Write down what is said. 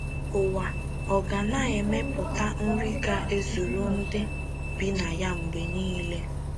Ụwa Ọ̀ Ga Na - emepụta Nri Ga - ezuru Ndị Bi na Ya Mgbe Niile?